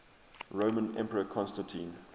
roman emperor constantine